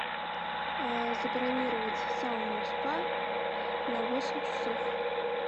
забронировать сауну спа на восемь часов